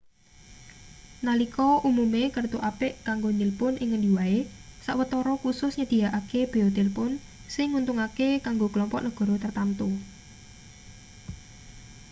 nalika umume kertu apik kanggo nilpun ing ngendi wae sawetara khusus nyedhiyakake beya tilpun sing nguntungake kanggo klompok negara tartamtu